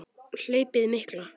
Hlaupið mikla